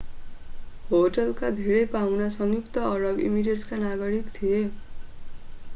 होस्टलका धेरै पाहुना संयुक्त अरब इमिरेट्सका नागरिक थिए